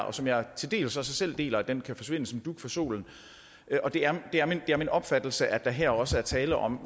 og som jeg til dels også selv deler kan kan forsvinde som dug for solen og det er min opfattelse at der her også er tale om